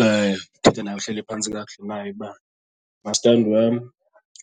Uthetha naye uhleli phantsi kakuhle naye uba mastandi wam